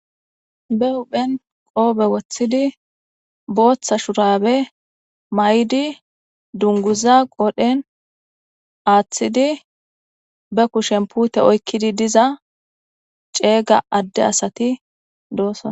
Be huphen qoobe wothidi, bootha shurabe mayidi, dunguza qoodhen aathidi ,ba kushen puute oykidi diza ceega adde asati dosona.